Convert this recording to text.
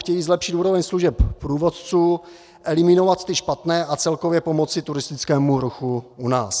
Chtějí zlepšit úroveň služeb průvodců, eliminovat ty špatné a celkově pomoci turistickému ruchu u nás.